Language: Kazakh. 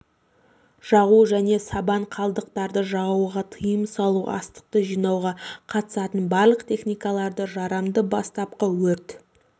жағу және сабан қалдықтарды жағуға тиым салу астықты жинауға қатысатын барлық техникаларды жарамды бастапқы өрт